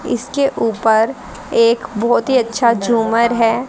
इसके ऊपर एक बहोत ही अच्छा झूमर है।